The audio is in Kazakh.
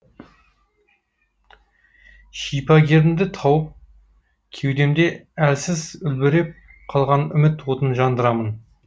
шипагерімді тауып кеудемде әлсіз үлбіреп қалған үміт отын жандырамын